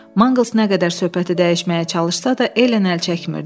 Manqıls nə qədər söhbəti dəyişməyə çalışsa da, Elen əl çəkmirdi.